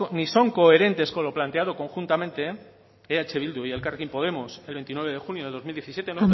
ni son coherentes con lo planteado conjuntamente eh bildu y elkarrekin podemos el veintinueve de junio de dos mil diecisiete